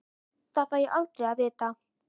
Það fæ ég aldrei að vita.